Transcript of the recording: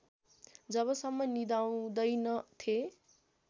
जबसम्म निदाउँदैनथेँ